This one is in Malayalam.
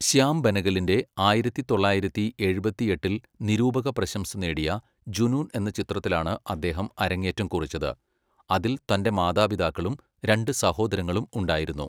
ശ്യാം ബെനഗലിന്റെ ആയിരത്തി തൊള്ളായിരത്തി എഴുപത്തിയെട്ടിൽ നിരൂപക പ്രശംസ നേടിയ ജുനൂൺ എന്ന ചിത്രത്തിലാണ് അദ്ദേഹം അരങ്ങേറ്റം കുറിച്ചത്, അതിൽ തൻ്റെ മാതാപിതാക്കളും രണ്ട് സഹോദരങ്ങളും ഉണ്ടായിരുന്നു.